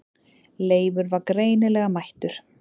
Leifur var greinilega mættur.